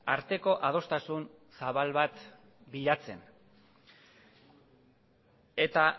arteko adostasun zabal bat bilatzen eta